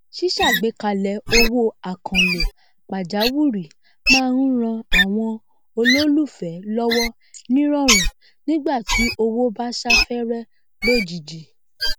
síṣàgbékalẹ owó àkànlò pàjáwùrì má n ran àwọn olólùfẹ lọwọ nírọrùn nígbà tí owó bá sáfárẹ lójíjì